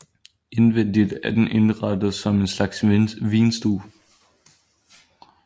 Indvendigt er den indrettet som en slags vinstue